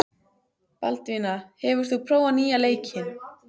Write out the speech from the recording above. Baldvina, hefur þú prófað nýja leikinn?